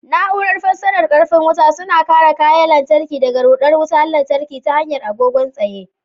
Na'urar fasarar karfin wuta suna kare kayan lantarki daga ruɗar wutar lantarki ta hanyar agogon tsaye.